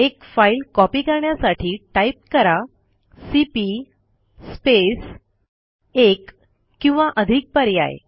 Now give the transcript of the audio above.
एक file copy करण्यासाठी type कराcp स्पेस एक किंवा अधिक पर्याय